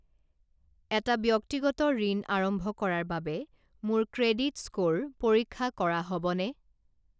এটা ব্যক্তিগত ঋণ আৰম্ভ কৰাৰ বাবে মোৰ ক্ৰেডিট স্ক'ৰ পৰীক্ষা কৰা হ'বনে?